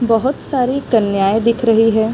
बोहोत सारी कन्याये दिख रही है।